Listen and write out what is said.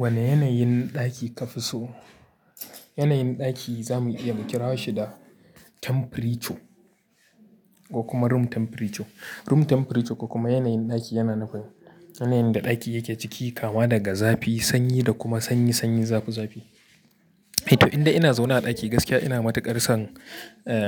Wani yanayin ɗaki ka fi so? Yanayin ɗaki za mu iya mu kira shi da temperature, ko kuma room temperature. Room temperature, ko kuma yanayin ɗaki yana nufin yanayin da ɗaki yake ciki, kama daga zafi, sanyi da kuma sanyi sanyi, zafi zafi. To indai ina zaune a ɗaki gaskiya ina matuƙar son